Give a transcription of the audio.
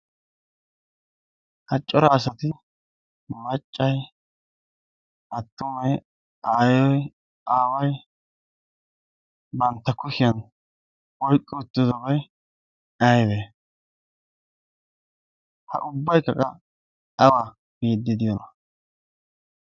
ha cora asati maccay attumay aayoy aaway bantta kushiyan oiqqi uttidobay aybee? ha ubbaykkaqa awa biiddi diyoona?